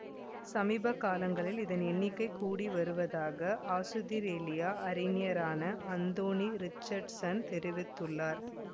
சமீப காலங்களில் இதன் எண்ணிக்கை கூடி வருவதாக ஆசுதிரேலிய அறிஞரான அந்தோனி ரிச்சார்ட்சன் தெரிவித்துள்ளார்